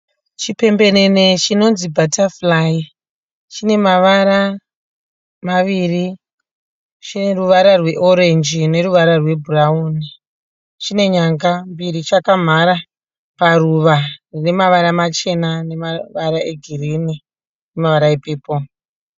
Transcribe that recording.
Chipembenene chinonzi bhatafurai chine mavara maviri chine ruvara rweorenji neruvara rwebhurauni chine nyanga mbiri chakamhara paruva rinemawara Machena nemavara egirini nemavara epepuru